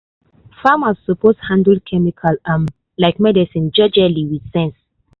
farmers suppose handle chemical um like medicine jejely with sense.